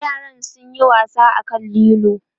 yaran sun Yi wasa a kan lilo